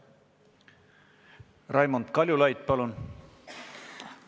Raimond Kaljulaid, palun!